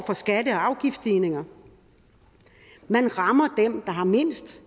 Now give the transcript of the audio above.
skatte og afgiftsstigninger man rammer dem der har mindst